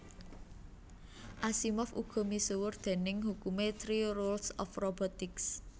Asimov uga misuwur déning hukumé Three Rules of Robotics